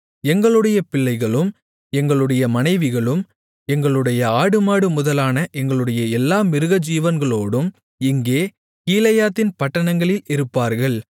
எங்களுடைய பிள்ளைகளும் எங்களுடைய மனைவிகளும் எங்களுடைய ஆடுமாடு முதலான எங்களுடைய எல்லா மிருகஜீவன்களோடும் இங்கே கீலேயாத்தின் பட்டணங்களில் இருப்பார்கள்